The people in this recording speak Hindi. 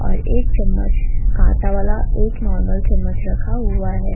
और एक चम्मच कांटा वाला एक नॉर्मल चम्मच रखा हुआ है।